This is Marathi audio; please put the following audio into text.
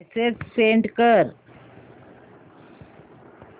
मेसेज सेंड कर